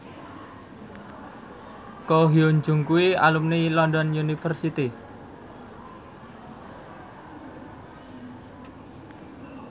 Ko Hyun Jung kuwi alumni London University